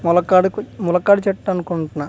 ములకడుకు ములక్కాడు చేటు అనుకుంటున్నా .